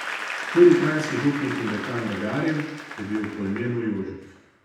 Tudi kranjski župnik in dekan Dagarin je bil po imenu Jožef.